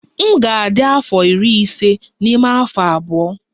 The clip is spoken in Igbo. M ga-adị afọ iri ise n'ime afọ abụọ.